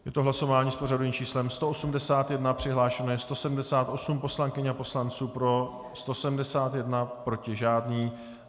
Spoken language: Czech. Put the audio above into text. Je to hlasování s pořadovým číslem 181, přihlášeno je 178 poslankyň a poslanců, pro 171, proti žádný.